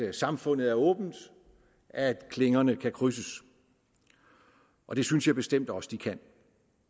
at samfundet er åbent at klingerne kan krydses og det synes jeg bestemt også at de kan